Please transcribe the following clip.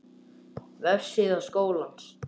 Vefsíða Skólans